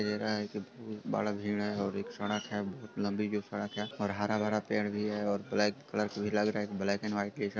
दिखाई दे रहा है की बहु बड़ा भीड़ है| और एक सडक है बहुत लंबी| जो सडक है और हरा भरा पेड़ भि है और ब्लैक कलर की भि लग रह है| ब्लैक एंड व्हाइट